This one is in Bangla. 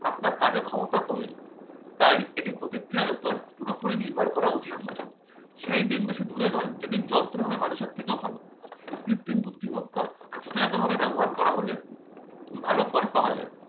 আপনার কাজের ক্ষমতা কমিয়ে দিবে তাই এটির প্রতিক্রিয়ার উপর পুরোপুরি নির্ভর করা উচিত নয়। সেই দিন বেশি দূরে নয় যেদিন যন্ত্র হবে মানুষের থেকেও ভালো। কৃত্রিম বুদ্ধিমত্তা যথাযথভাবে ব্যবহার করা হলে ভালো ফল পাওয়া যায়।